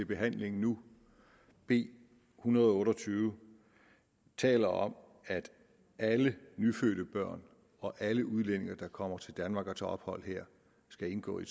behandling nu b en hundrede og otte og tyve taler om at alle nyfødte børn og alle udlændinge der kommer til danmark og tager ophold her skal indgå i